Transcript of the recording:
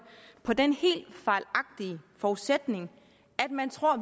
på den helt fejlagtige forudsætning at man tror